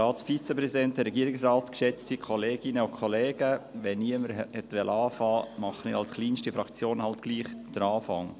Wenn niemand beginnen will, mache ich mit der kleinsten Fraktion halt doch den Anfang.